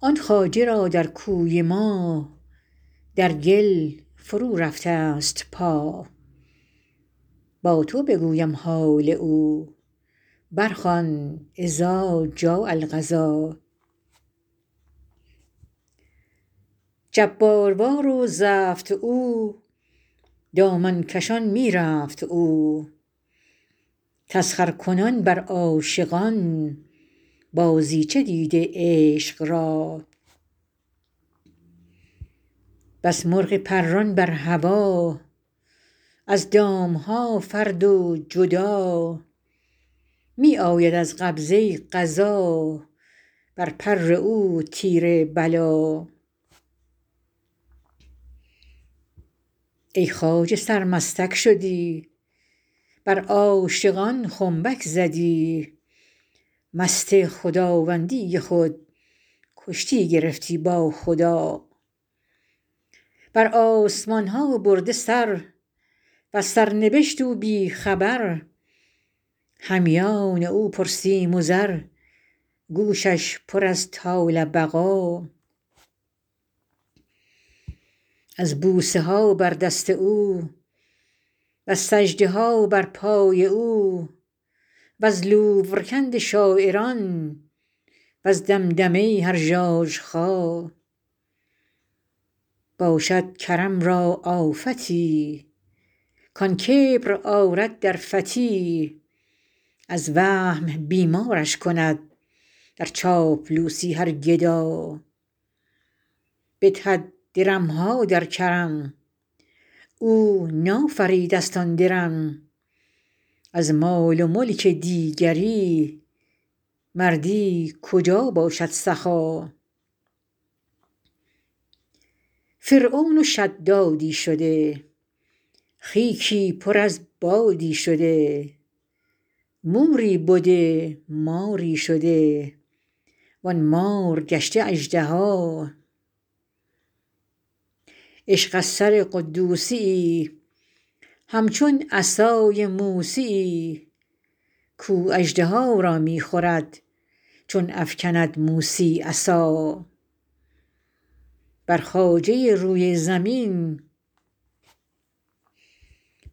آن خواجه را در کوی ما در گل فرورفته ست پا با تو بگویم حال او برخوان اذا جاء القضا جباروار و زفت او دامن کشان می رفت او تسخرکنان بر عاشقان بازیچه دیده عشق را بس مرغ پران بر هوا از دام ها فرد و جدا می آید از قبضه قضا بر پر او تیر بلا ای خواجه سرمستک شدی بر عاشقان خنبک زدی مست خداوندی خود کشتی گرفتی با خدا بر آسمان ها برده سر وز سرنبشت او بی خبر همیان او پرسیم و زر گوشش پر از طال بقا از بوسه ها بر دست او وز سجده ها بر پای او وز لورکند شاعران وز دمدمه هر ژاژخا باشد کرم را آفتی کان کبر آرد در فتی از وهم بیمارش کند در چاپلوسی هر گدا بدهد درم ها در کرم او نافریده ست آن درم از مال و ملک دیگری مردی کجا باشد سخا فرعون و شدادی شده خیکی پر از بادی شده موری بده ماری شده وان مار گشته اژدها عشق از سر قدوسی یی همچون عصای موسی یی کاو اژدها را می خورد چون افکند موسی عصا بر خواجه روی زمین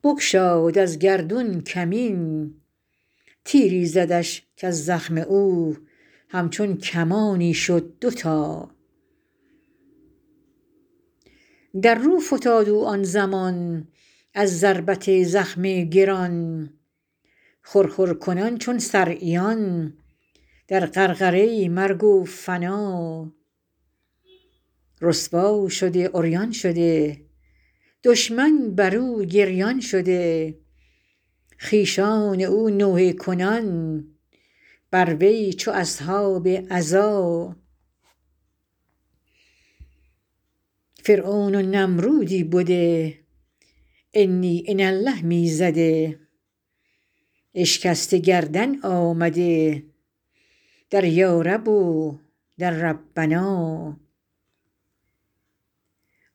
بگشاد از گردون کمین تیری زدش کز زخم او همچون کمانی شد دوتا در رو فتاد او آن زمان از ضربت زخم گران خرخر کنان چون صرعیان در غرغره مرگ و فنا رسوا شده عریان شده دشمن بر او گریان شده خویشان او نوحه کنان بر وی چو اصحاب عزا فرعون و نمرودی بده انی انا الله می زده اشکسته گردن آمده در یارب و در ربنا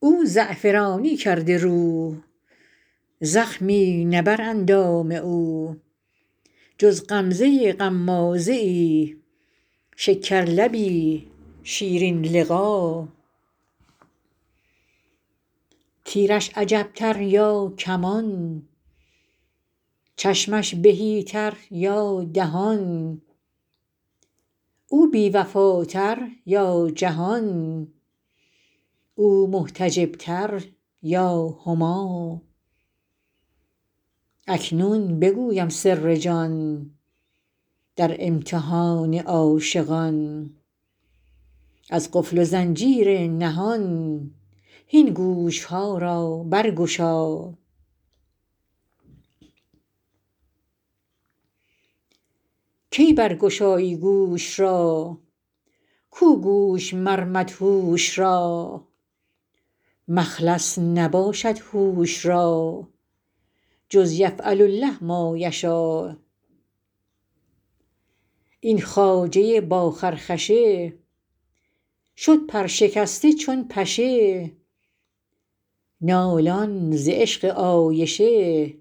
او زعفرانی کرده رو زخمی نه بر اندام او جز غمزه غمازه ای شکرلبی شیرین لقا تیرش عجب تر یا کمان چشمش تهی تر یا دهان او بی وفاتر یا جهان او محتجب تر یا هما اکنون بگویم سر جان در امتحان عاشقان از قفل و زنجیر نهان هین گوش ها را برگشا کی برگشایی گوش را کو گوش مر مدهوش را مخلص نباشد هوش را جز یفعل الله ما یشا این خواجه با خرخشه شد پرشکسته چون پشه نالان ز عشق عایشه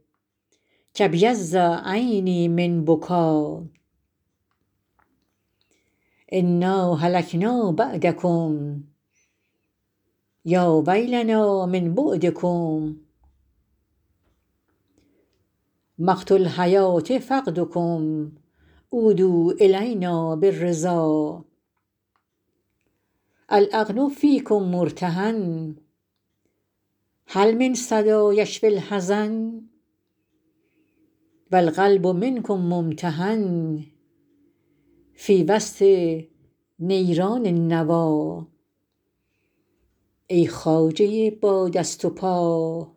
کابیض عینی من بکا انا هلکنا بعدکم یا ویلنا من بعدکم مقت الحیوه فقدکم عودوا الینا بالرضا العقل فیکم مرتهن هل من صدا یشفی الحزن و القلب منکم ممتحن فی وسط نیران النوی ای خواجه با دست و پا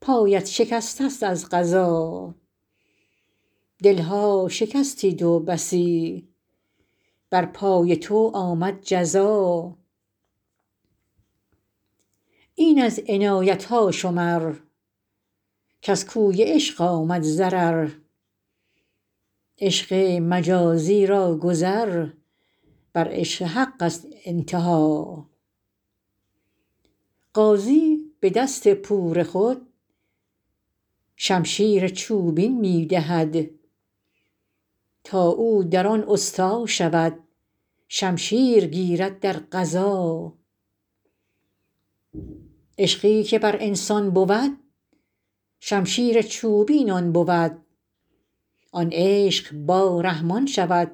پایت شکسته ست از قضا دل ها شکستی تو بسی بر پای تو آمد جزا این از عنایت ها شمر کز کوی عشق آمد ضرر عشق مجازی را گذر بر عشق حق ست انتها غازی به دست پور خود شمشیر چوبین می دهد تا او در آن استا شود شمشیر گیرد در غزا عشقی که بر انسان بود شمشیر چوبین آن بود آن عشق با رحمان شود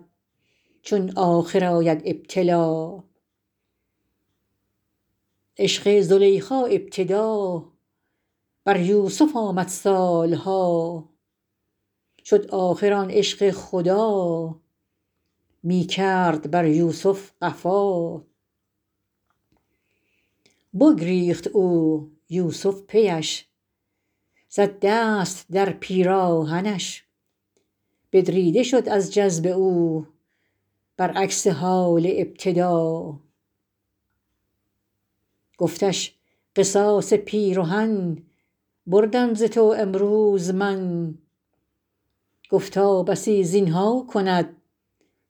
چون آخر آید ابتلا عشق زلیخا ابتدا بر یوسف آمد سال ها شد آخر آن عشق خدا می کرد بر یوسف قفا بگریخت او یوسف پی اش زد دست در پیراهنش بدریده شد از جذب او برعکس حال ابتدا گفتش قصاص پیرهن بردم ز تو امروز من گفتا بسی زین ها کند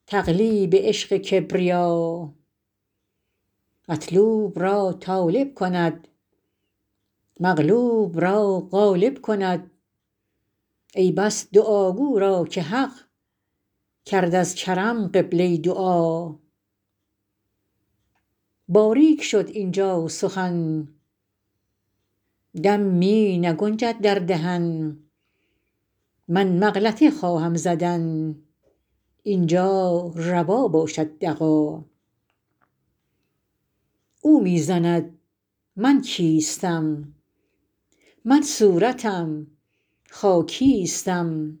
تقلیب عشق کبریا مطلوب را طالب کند مغلوب را غالب کند ای بس دعاگو را که حق کرد از کرم قبله دعا باریک شد اینجا سخن دم می نگنجد در دهن من مغلطه خواهم زدن این جا روا باشد دغا او می زند من کیستم من صورتم خاکیستم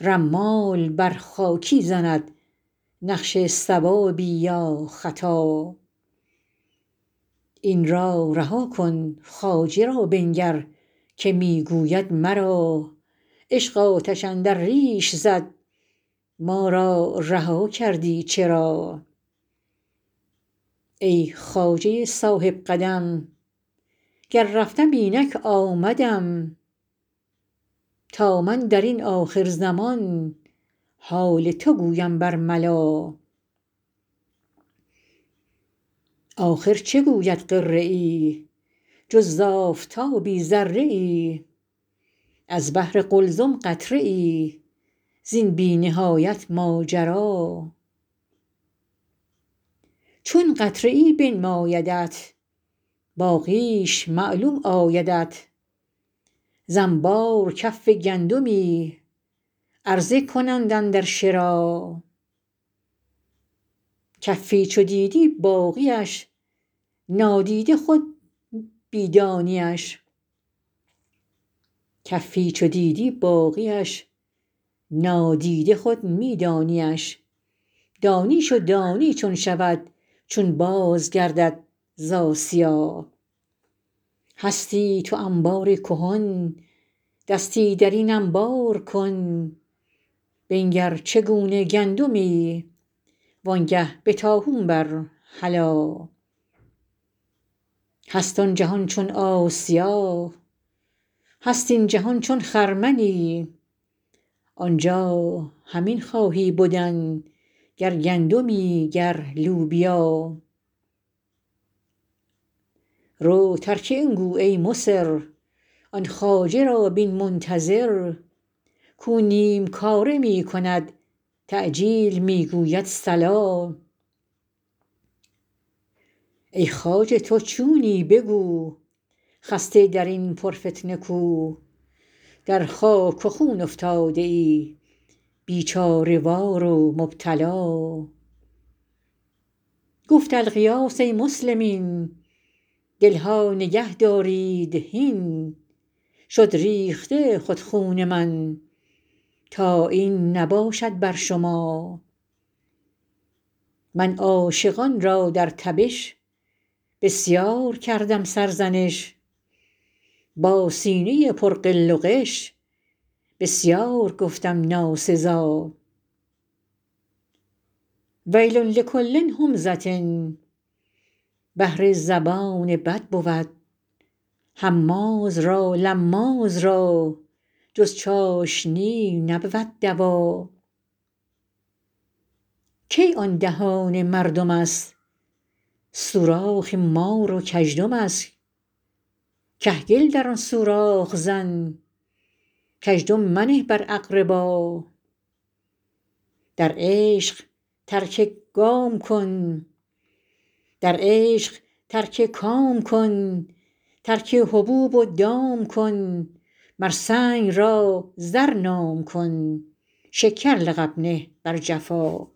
رمال بر خاکی زند نقش صوابی یا خطا این را رها کن خواجه را بنگر که می گوید مرا عشق آتش اندر ریش زد ما را رها کردی چرا ای خواجه صاحب قدم گر رفتم اینک آمدم تا من در این آخرزمان حال تو گویم برملا آخر چه گوید غره ای جز ز آفتابی ذره ای از بحر قلزم قطره ای زین بی نهایت ماجرا چون قطره ای بنمایدت باقیش معلوم آیدت ز انبار کف گندمی عرضه کنند اندر شرا کفی چو دیدی باقی اش نادیده خود می دانی اش دانیش و دانی چون شود چون بازگردد ز آسیا هستی تو انبار کهن دستی در این انبار کن بنگر چگونه گندمی وانگه به طاحون بر هلا هست آن جهان چون آسیا هست این جهان چون خرمنی آنجا همین خواهی بدن گر گندمی گر لوبیا رو ترک این گو ای مصر آن خواجه را بین منتظر کاو نیم کاره می کند تعجیل می گوید صلا ای خواجه تو چونی بگو خسته در این پرفتنه کو در خاک و خون افتاده ای بیچاره وار و مبتلا گفت الغیاث ای مسلمین دل ها نگهدارید هین شد ریخته خود خون من تا این نباشد بر شما من عاشقان را در تبش بسیار کردم سرزنش با سینه پر غل و غش بسیار گفتم ناسزا ویل لکل همزه بهر زبان بد بود هماز را لماز را جز چاشنی نبود دوا کی آن دهان مردم است سوراخ مار و کژدم است کهگل در آن سوراخ زن کزدم منه بر اقربا در عشق ترک کام کن ترک حبوب و دام کن مر سنگ را زر نام کن شکر لقب نه بر جفا